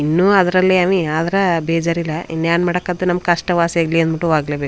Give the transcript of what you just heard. ಇನ್ನೂ ಅದರಲ್ಲೇ ಅವಿ ಆದ್ರ ಬೇಜಾರಿಲ್ಲ ಇನ್ನು ಏನು ಮಾಡಕ್ ಆದ್ದೂ ನಮ್ ಕಷ್ಟ ವಾಸಿಯಾಗಲಿ ಅಂತ ಅಂದ್ಬುಟ್ಟು ಹೋಗ್ಲೇಬೇಕು.